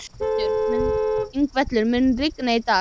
Yngveldur, mun rigna í dag?